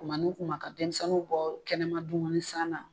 Kuma ni kuma ka denmisɛnninw bɔ kɛnɛma dumuni san na.